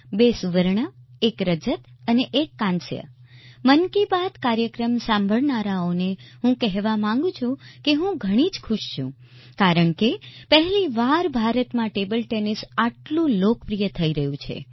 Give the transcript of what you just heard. બે સુવર્ણ એક રજત અને એક કાંસ્ય મન કી બાત કાર્યક્રમ સાંભળનારાઓને હું કહેવા માગું છે કે હું ઘણી જ ખુશ છું કારણ કે પહેલીવાર ભારતમાં ટેબલ ટેનિસ આટલું લોકપ્રિય થઈ રહ્યું છે